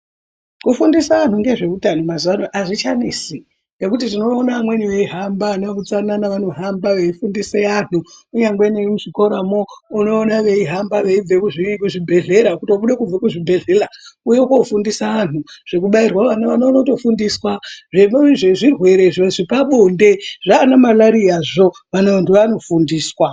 Kufundisa antu ngezveutano mazuva anaya azvichanesi ngekuti tinoone vamweni veihamba neveutsanana vanoramba veifundisa vantu .Kunyangwe nemuzvikoramwo unoona veihamba vaibva kuzvibhedhleya kuti fundisa antu zvekubairwa . Zvimweni zvirwere zvepabonde kana marariyawo vantu vanofundiswa.